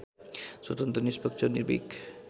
स्वतन्त्र निष्पक्ष निर्भिक